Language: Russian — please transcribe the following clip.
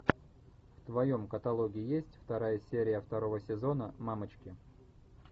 в твоем каталоге есть вторая серия второго сезона мамочки